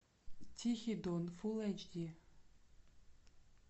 тихий дон фулл эйч ди